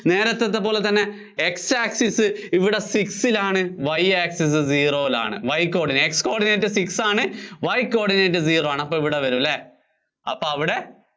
നേരത്തെ പറഞ്ഞപോലെ തന്നെ X access six ല്‍ ആണ് Y access ഇവിടെ zero യില്‍ ആണ്. X coordinate six ആണ്, Y coordinate zero ആണ്. അപ്പോ ഇവിടെ വരും അല്ലേ? അപ്പോ അവിടെ